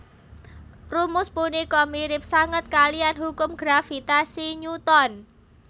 Rumus punika mirip sanget kaliyan hukum gravitasi Newton